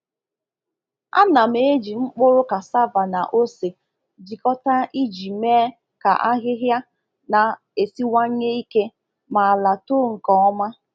A na m eji mkpụrụ cassava na ose jikọta iji mee ka ahịhịa na-esiwanye ike ma ala too nke ọma.